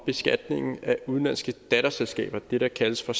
beskatningen af udenlandske datterselskaber det der kaldes for